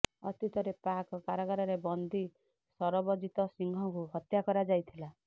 ଅତୀତରେ ପାକ୍ କାରାଗାରରେ ବନ୍ଦୀ ଶରବଜୀତ ସିଂହକୁ ହତ୍ୟା କରାଯାଇଥିଲା